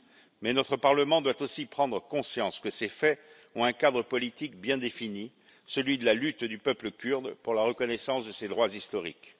Mais notre Parlement doit aussi prendre conscience que ces faits ont un cadre politique bien défini, celui de la lutte du peuple kurde pour la reconnaissance de ses droits historiques.